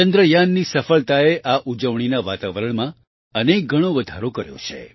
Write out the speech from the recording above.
ચંદ્રયાનની સફળતાએ આ ઉજવણીના વાતાવરણમાં અનેકગણો વધારો કર્યો છે